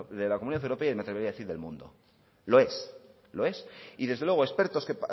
de la comunidad europea y me atrevería a decir del mundo lo es lo es y desde luego expertos que